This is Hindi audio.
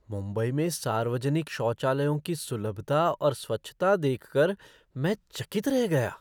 मुंबई में सार्वजनिक शौचालयों की सुलभता और स्वच्छता देख कर मैं चकित रह गया।